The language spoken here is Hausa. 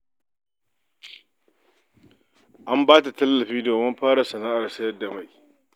An ba ta tallafi domin fara sana'ar sayar da mai.